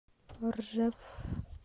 ржев